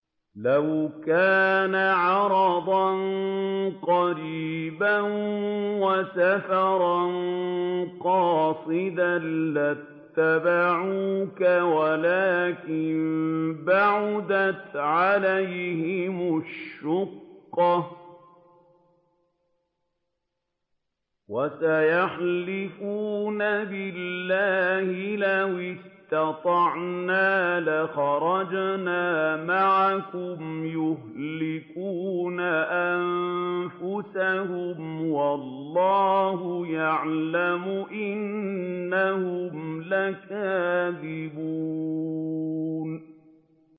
لَوْ كَانَ عَرَضًا قَرِيبًا وَسَفَرًا قَاصِدًا لَّاتَّبَعُوكَ وَلَٰكِن بَعُدَتْ عَلَيْهِمُ الشُّقَّةُ ۚ وَسَيَحْلِفُونَ بِاللَّهِ لَوِ اسْتَطَعْنَا لَخَرَجْنَا مَعَكُمْ يُهْلِكُونَ أَنفُسَهُمْ وَاللَّهُ يَعْلَمُ إِنَّهُمْ لَكَاذِبُونَ